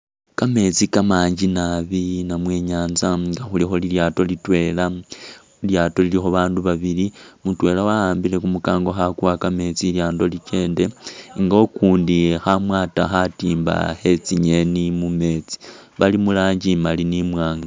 Kameetsi kamakali nabi namwe i'nyaanza nga ilikho lilyaato litwela, lilyaato lilikho abaandu babili, mutwela wa'ambile kumukango khakuwa kameetsi ilyaato likende nga ukundi kha amwaata khatimba khe tsingeeni mu meetsi, bali mu rangi imali ni imwaanga.